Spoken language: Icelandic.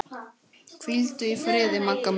Hvíldu í friði, Magga mín.